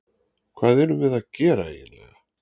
Hvað erum við að gera eiginlega?